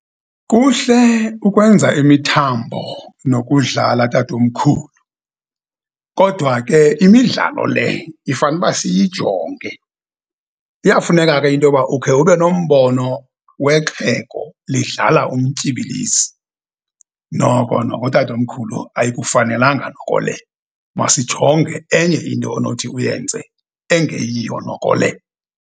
Kuhle ukwenza imithambo nokudlala, tatomkhulu, kodwa ke imidlalo le ifane uba siyijonge. Iyafuneka ke into yoba ukhe ube nombono wexhego lidlala umtyibilizi. Noko noko. tatomkhulu, ayikufanelanga noko le, masijonge enye into onothi uyenze engeyiyo noko le.